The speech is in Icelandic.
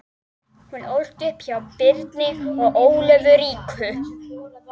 Hún ólst upp hjá Birni og Ólöfu ríku